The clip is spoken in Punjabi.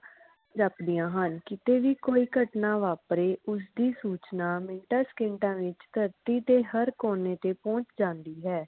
ਜਾਪਦੀਆਂ ਹਨ ਕੀਤੇ ਵੀ ਕਿਉਂ ਘਟਨਾਂ ਵਾਪਰੇ ਉਸ ਦੀ ਸੂਚਨਾ ਮਿੰਟਾ ਸੇਕੀਂਦਾ ਵਿਚ ਧਰਤੀ ਦੇ ਹਰ ਕੋਨੇ ਤੇ ਪਹੁਚ ਜਾਂਦੀ ਹੈ